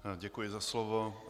Děkuji za slovo.